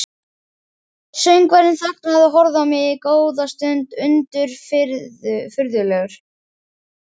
Söngvarinn þagnaði og horfði á mig góða stund undirfurðulegur.